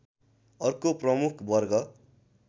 अर्को प्रमुख वर्ग